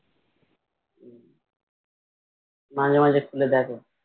মাঝে মাঝে খুলে দেখো